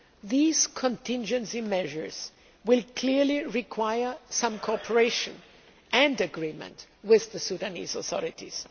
These contingency measures will clearly require some cooperation and agreement with the Sudanese authorities.